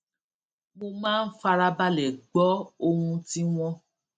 mo máa ń farabalè gbó ohun tí wón